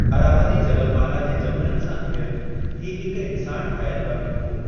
अरावली जबलमाला जे जबलनि सां घिरयलु हीउ हिकु इन्सान ठाहियलु बंदु हुओ।